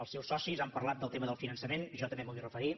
els seus socis han parlat del tema del finançament jo també m’hi vull referir